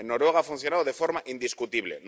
En Noruega ha funcionado de forma indiscutible.